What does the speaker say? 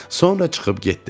Sonra çıxıb getdilər.